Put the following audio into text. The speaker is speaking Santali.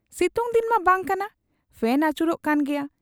ᱥᱤᱛᱩᱝ ᱫᱤᱱ ᱢᱟ ᱵᱟᱝ ᱠᱟᱱᱟ ᱾ ᱯᱷᱮᱱ ᱟᱹᱪᱩᱨᱚᱜ ᱠᱟᱱ ᱜᱮᱭᱟ ᱾